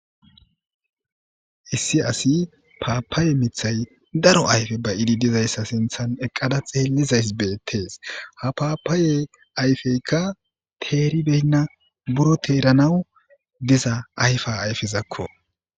Issi asi paapaaye mithay daro ayfe ba'idi dizayssa sinthan eqqada xeellizaysi beettees. Ha paapaye ayfeykka teeribeynna. Buro teeranawu diza ayfa ayfezakko.